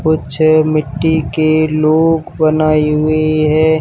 कुछ मिट्टी के लोग बनाई हुई है।